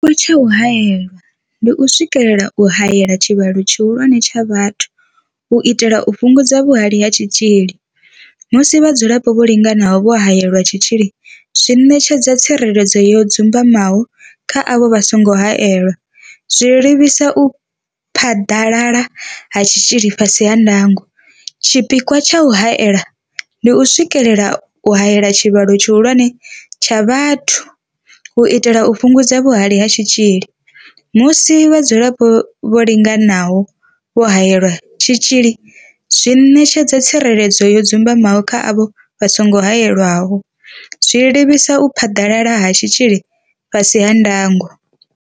Tshipikwa tsha u haela ndi u swikelela u haela tshivhalo tshihulwane tsha vhathu u itela u fhungudza vhuhali ha tshitzhili, musi vhadzulapo vho linganaho vho haelelwa tshitzhili zwi ṋetshedza tsireledzo yo dzumbamaho kha avho vha songo haelwaho, zwa livhisa u phaḓalala ha tshitzhili fhasi ha ndango. Tshipikwa tsha u haela ndi u swikelela u haela tshivhalo tshihulwane tsha vhathu u itela u fhungudza vhuhali ha tshitzhili, musi vhadzulapo vho linganaho vho haelelwa tshitzhili zwi ṋetshedza tsireledzo yo dzumbamaho kha avho vha songo haelwaho, zwa livhisa u phaḓalala ha tshitzhili fhasi ha ndango.